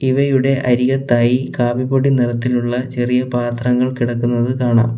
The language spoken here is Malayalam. ഇവയുടെ അരികത്തായി കാപ്പിപ്പൊടി നിറത്തിലുള്ള ചെറിയ പാത്രങ്ങൾ കിടക്കുന്നത് കാണാം.